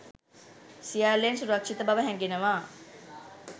සියල්ලෙන් සුරක්‍ෂිත බව හැඟෙනවා